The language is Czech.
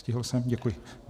Stihl jsem, děkuji.